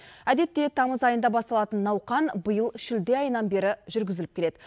әдетте тамыз айында басталатын науқан биыл шілде айынан бері жүргізіліп келеді